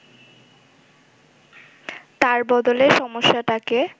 তার বদলে সমস্যাটাকে